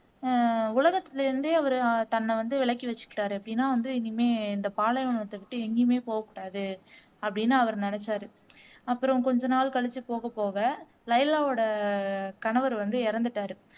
ஆஹ் உலகத்துல இருந்தே அவரு தன்னை வந்து விலக்கி வச்சுக்கிட்டாரு எப்படின்னா வந்து இனிமே இந்த பாலைவனத்தை விட்டு எங்கேயுமே போக கூடாது அப்படின்னு அவர் நினைச்சாரு அப்புறம் கொஞ்ச நாள் கழிச்சு போக போக லைலாவோட கணவர் வந்து இறந்துட்டாரு